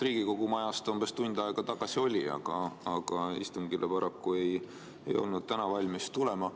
Riigikogu majas ta umbes tund aega tagasi oli, aga istungile ei olnud täna valmis paraku tulema.